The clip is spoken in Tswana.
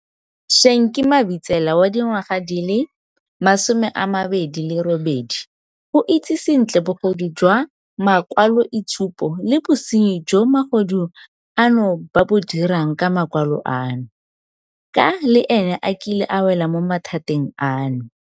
Shenki Mabitsela, wa dingwaga di le 28, o itse sentle bogodu jwa makwaloitshupo le bosenyi jo magodu ano ba bo dirang ka makwalo ano, ka le ene a kile a wela mo mathateng ano.